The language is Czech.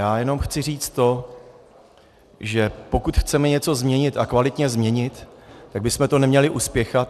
Já jenom chci říct to, že pokud chceme něco změnit, a kvalitně změnit, tak bychom to neměli uspěchat.